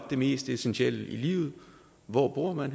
det mest essentielle i livet hvor bor man